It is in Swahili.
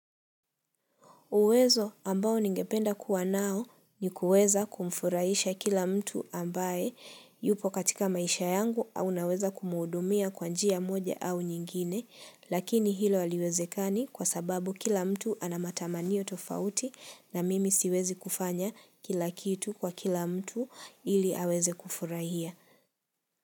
Uwezo ambao ningependa kuwa nao ni kuweza kumfurahisha kila mtu ambaye yupo katika maisha yangu au naweza kumhudumia kwa njia moja au nyingine lakini hilo haliwezekani kwa sababu kila mtu ana matamanio tofauti na mimi siwezi kufanya kila kitu kwa kila mtu ili aweze kufurahia.